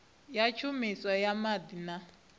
ya tshumiso ya maḓi na